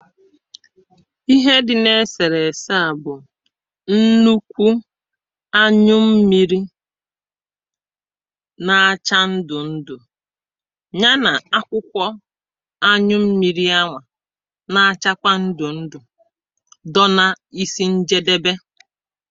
ihe dị̇ na-esèrèse a bụ̀ nnukwu anyụ mmịrị̇ na-acha ndụ̀ ndụ̀ ya nà akwụkwọ anyụ mmịrị̇ anwà na-achakwa ndụ̀ ndụ̀ dọ na isi njédébé